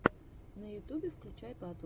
на ютубе включай батл